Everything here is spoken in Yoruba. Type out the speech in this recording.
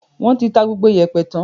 O ti ta gbogbo ìyẹ̀pẹ̀ tán?